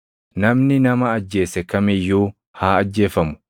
“ ‘Namni nama ajjeese kam iyyuu haa ajjeefamu.